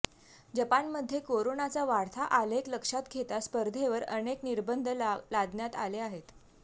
जपानमध्ये कोरोनाचा वाढता आलेख लक्षात घेता स्पर्धेवर अनेक निर्बंध लादण्यात आले आहेत